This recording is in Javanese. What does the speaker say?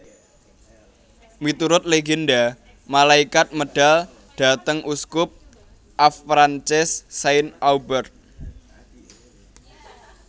Miturut legenda malaikat medal dhateng uskup Avranches Saint Aubert